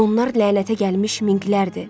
Onlar lənətə gəlmiş minqlərdir.